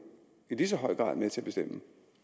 i lige så høj grad med til at bestemme